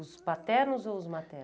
Os paternos ou os maternos?